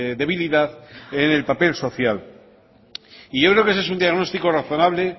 debilidad en el papel social y yo creo que ese es un diagnóstico razonable